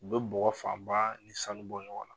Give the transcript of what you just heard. U bɛ bɔgɔ fan ba ni sanu bɔ ɲɔgɔn na.